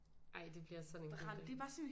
Ej det bliver sådan en god dag